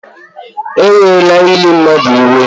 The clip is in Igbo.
Ewela ili mmadụ iwe